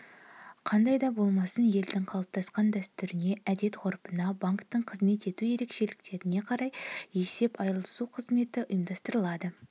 қандай да болмасын елдің қалыптасқан дәстүріне әдет-ғұрпына банктің қызмет ету ерекшеліктеріне қарай есеп айырылысу қызметі ұйымдастырылады